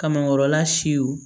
Kamankɔrɔla siw